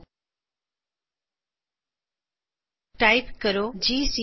type ਕਰੋ G C C space while dot C space hyphen O space while